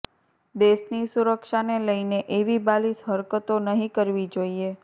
દેશની સુરક્ષાને લઈને એવી બાલિશ હરકતો નહીં કરવી જોઈએ